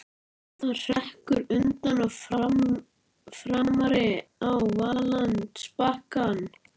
Það hrekkur undan og framar á valllendisbakkann.